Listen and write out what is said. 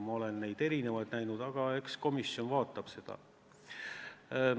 Ma olen erinevaid teooriaid näinud, eks komisjon vaatab seda kõike.